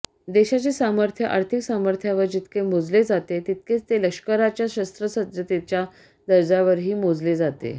देशाचे सामर्थ्य आर्थिक सामर्थ्यावर जितके मोजले जाते तितकेच ते लष्कराच्या शस्त्रसज्जतेच्या दर्जावरही मोजले जाते